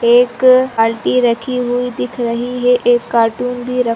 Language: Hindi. एक बाल्टी रखी हुई दिख रही है एक कार्टून भी रख --